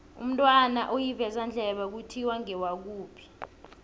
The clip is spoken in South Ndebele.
umntwana olivezandlebe kuthiwa ngewakuphi